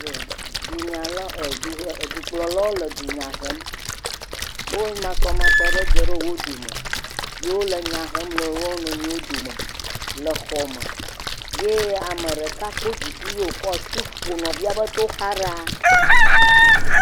Yoo dunyalawo e, duhe, e dukplɔlawo le dunya hem. Wo masɔmasɔ aɖe dzɔ ɖe wo dome. Ye wo le nya hem le wop nɔnɔewo dome ye ame ɖeka kpɔ dziku ye wokɔ asi ƒo nɔvia ƒe toxa ɖaa.